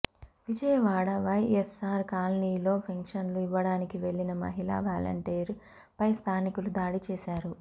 విజయవాడ వైఎస్సార్ కాలనీలో పెన్షన్లు ఇవ్వడానికి వెళ్లిన మహిళా వాలంటీర్ పై స్థానికులు దాడి చేశారు